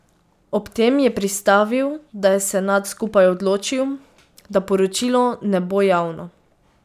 Ob tem je pristavil, da je senat skupaj odločil, da poročilo ne bo javno.